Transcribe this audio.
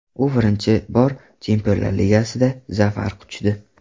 U birinchi bor Chempionlar ligasida zafar quchdi.